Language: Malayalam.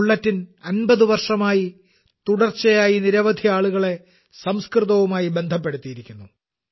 ഈ ബുള്ളറ്റിൻ 50 വർഷമായി തുടർച്ചയായി നിരവധി ആളുകളെ സംസ്കൃതവുമായി ബന്ധപ്പെടുത്തിയിരിക്കുന്നു